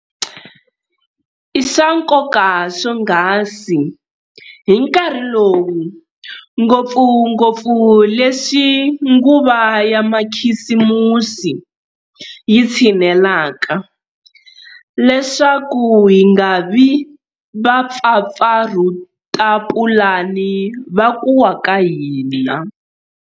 I swa nkoka swonghasi hi nkarhi lowu, ngopfungopfu leswi nguva ya makhisimusi yi tshinelaka, leswaku hi nga vi vapfapfarhutapulani va ku wa ka hina.